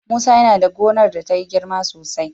Musa yana da gonar da ta yi girma sosai.